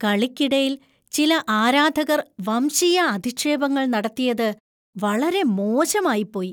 കളിക്കിടയിൽ ചില ആരാധകർ വംശീയ അധിക്ഷേപങ്ങൾ നടത്തിയത് വളരെ മോശമായിപ്പോയി .